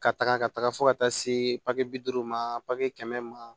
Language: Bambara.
Ka taga ka taga fo ka taa se papiye bi duuru ma papiye kɛmɛ ma